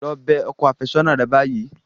Lọ bẹ ọkọ àfẹ́sọ́nà rẹ báyìí.